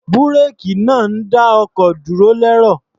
Búréèkì náà ń dá ọkọ̀ dúró lẹ́rọ̀.